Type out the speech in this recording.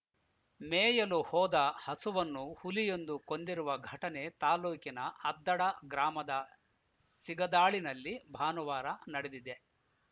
ಮೇಯಲು ಹೋದ ಹಸುವನ್ನು ಹುಲಿಯೊಂದು ಕೊಂದಿರುವ ಘಟನೆ ತಾಲೂಕಿನ ಅದ್ದಡ ಗ್ರಾಮದ ಸಿಗದಾಳಿನಲ್ಲಿ ಭಾನುವಾರ ನಡೆದಿದೆ